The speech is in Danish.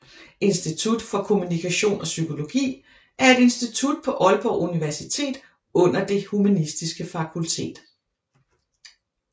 Institut for Kommunikation og Psykologi er et institut på Aalborg Universitet under Det Humanistiske Fakultet